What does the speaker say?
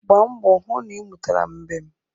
Gbaa mbọ hụ na ị mụtara mbem.